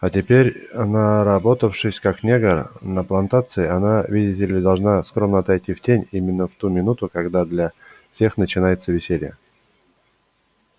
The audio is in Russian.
а теперь наработавшись как негр на плантации она видите ли должна скромно отойти в тень именно в ту минуту когда для всех начинается веселье